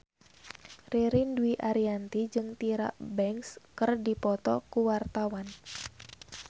Ririn Dwi Ariyanti jeung Tyra Banks keur dipoto ku wartawan